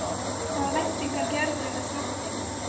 Hvaða væntingar gerirðu hjá Þrótti?